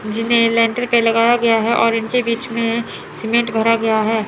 जिन्हें लेंटर पर लगाया गया है और उनके बीच में सीमेंट भरा गया है।